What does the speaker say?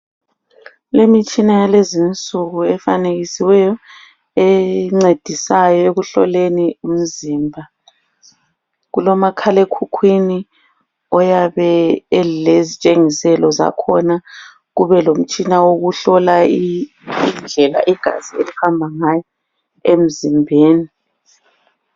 Kulemitshina yalezinsuku efanekisiweyo, encedisayo ekuhloleni umzimba. Kulomakhalekhukhwini oyabe elezitshengiselo zakhona, kubelomtshina wokuhlola indlela igazi elihamba ngayo emzimbeni.